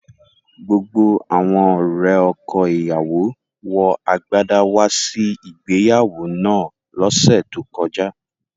Gbogbo awọn ọ̀rẹ̀ ọkọ̀-ìyáwó wọ àgbádà wà sí ìgbèyàwó náà lòṣè tó kọjà